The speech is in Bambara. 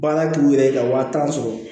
Baara k'u yɛrɛ ye ka wa tan sɔrɔ